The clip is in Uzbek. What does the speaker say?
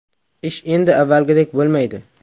Ish endi avvalgidek bo‘lmaydi.